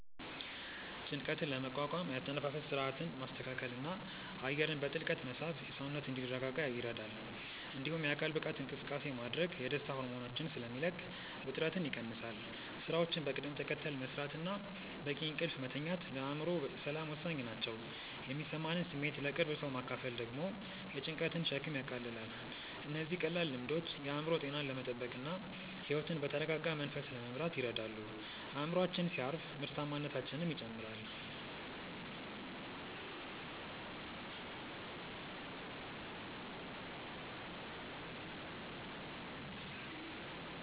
ጭንቀትን ለመቋቋም የአተነፋፈስ ሥርዓትን ማስተካከልና አየርን በጥልቀት መሳብ ሰውነት እንዲረጋጋ ይረዳል። እንዲሁም የአካል ብቃት እንቅስቃሴ ማድረግ የደስታ ሆርሞኖችን ስለሚለቅ ውጥረትን ይቀንሳል። ሥራዎችን በቅደም ተከተል መሥራትና በቂ እንቅልፍ መተኛት ለአእምሮ ሰላም ወሳኝ ናቸው። የሚሰማንን ስሜት ለቅርብ ሰው ማካፈል ደግሞ የጭንቀትን ሸክም ያቃልላል። እነዚህ ቀላል ልምዶች የአእምሮ ጤናን ለመጠበቅና ሕይወትን በተረጋጋ መንፈስ ለመምራት ይረዳሉ። አእምሮአችን ሲያርፍ ምርታማነታችንም ይጨምራል።